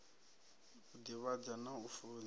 u divhadza na u funza